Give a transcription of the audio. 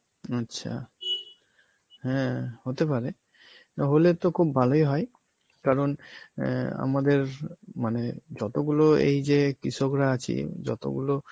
আচ্ছা হ্যাঁ হতে পারে, তাহলে তো খুব ভালোই হয় কারণ অ্যাঁ আমাদের মানে যতগুলো এই যে কৃষকরা আছি, যতগুলো